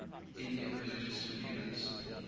indian religious leaders